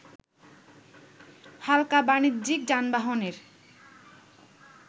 হালকা বানিজ্যিক যানবাহনের